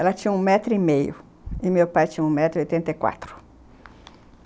Ela tinha um metro e meio e meu pai tinha um metro e oitenta e quatro.